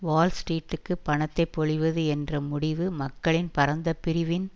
வால் ஸ்ட்ரீட்டுக்கு பணத்தை பொழிவது என்ற முடிவு மக்களின் பரந்த பிரிவின்